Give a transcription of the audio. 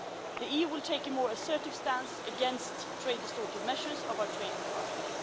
The EU will take a more assertive stance against trade distortive measures by our trading partners.